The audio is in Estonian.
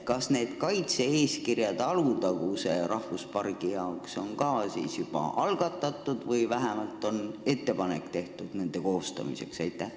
Kas Alutaguse rahvuspargi kaitse-eeskirja koostamine on ka juba algatatud või on vähemalt tehtud ettepanek selle koostamiseks?